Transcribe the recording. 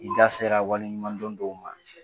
I da sera wali ɲumandɔn dɔw ma.